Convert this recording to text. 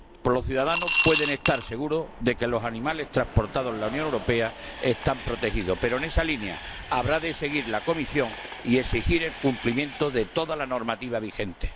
Los ciudadanos pueden estar seguros de que los animales transportados en la Unión Europea están protegidos, pero en esa línea habrá de seguir la Comisión y exigir el cumplimiento de toda la normativa vigente.